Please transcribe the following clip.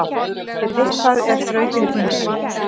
Eitthvað er þrautin þyngri